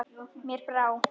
Mér brá.